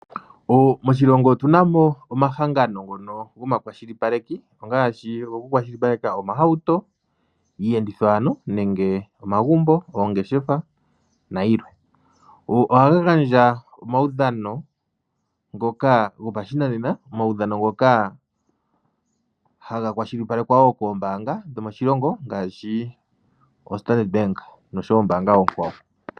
Moshilongo otunamo omahangano ngono gomakwashipaleko, ongaashi ogo kukwashipaleka omahauto, iiyenditho ano nenge omagumbo, oongeshefa nayilwe. Oha gandja omawudhano ngoka gopashinanena, omawidhadhono ngoka haga kwashilipalekwa wo koombaanga dhomoshilongo ngaashi oStandard Bank nosho wo oombanga oonkwawo.